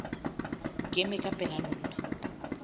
ke ema ka pela lona